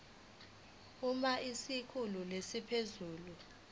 uma isikhulu esiphezulu